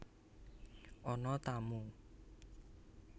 Ana tamu